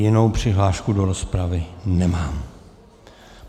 Jinou přihlášku do rozpravy nemám.